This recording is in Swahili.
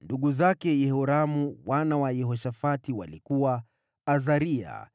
Ndugu zake Yehoramu, wana wa Yehoshafati walikuwa: Azaria,